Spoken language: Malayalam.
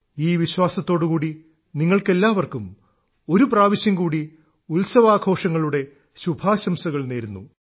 ഈ വിശ്വാസത്തോടു കൂടി നിങ്ങൾക്കെല്ലാവർക്കും ഒരു പ്രാവശ്യം കൂടി ഉത്സവാഘോഷങ്ങളുടെ ശുഭാശംസകൾ നേരുന്നു